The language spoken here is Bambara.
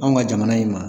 Anw ka jamana in ma